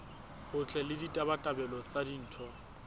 botle le ditabatabelo tsa ditho